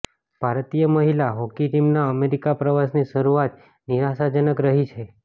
ભારતીય મહિલા હોકી ટીમના અમેરિકાપ્રવાસની શરૂઆત નિરાશાજનક રહી છે